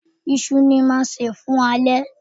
Iṣu ni mo máa sè fún alẹ́